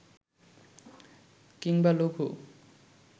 কিংবা লঘু